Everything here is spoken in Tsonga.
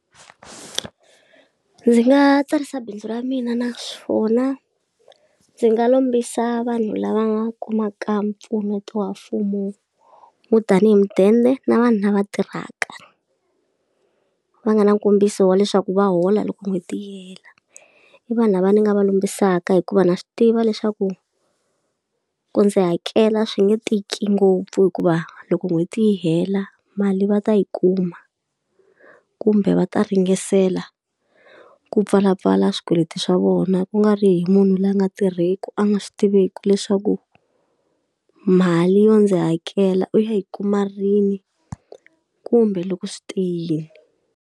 Ndzi nga tsarisa bindzu ra mina naswona ndzi nga lombisa vanhu lava nga kumaka mpfuneto wa mfumo wo tanihi mudende na vanhu lava tirhaka, va nga na nkombiso wa leswaku va hola loko n'hweti yi hela. I vanhu lava ni nga va lombisaka hikuva na swi tiva leswaku ku ndzi hakela swi nge tiki ngopfu hikuva loko n'hweti yi hela mali va ta yi kuma, kumbe va ta ringetela ku pfala pfala swikweleti swa vona. Ku nga ri hi munhu loyi a nga tirheki a nga swi tiveki leswaku mali yo ndzi hakela u ya yi kuma rini, kumbe loko swi te yini.